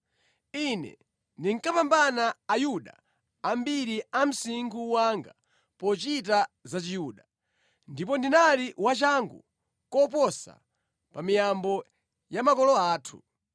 Ine ndinkapambana Ayuda ambiri a msinkhu wanga pochita za Chiyuda, ndipo ndinali wachangu koposa pa miyambo ya makolo athu.